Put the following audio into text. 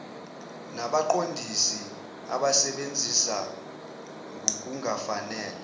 nabaqondisi abasebenzisa ngokungafanele